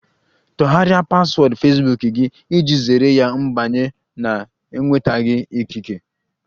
Tọgharịa paswọọdụ Fesbuk gị iji zere ya mbanye na-enwetaghi ikike!